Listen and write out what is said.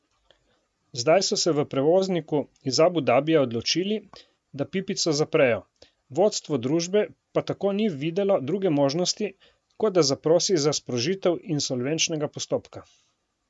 Zdaj so se v prevozniku iz Abu Dabija odločili, da pipico zaprejo, vodstvo družbe pa tako ni videlo druge možnosti, kot da zaprosi za sprožitev insolvenčnega postopka.